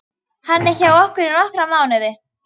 Hann er hjá okkur í nokkra mánuði.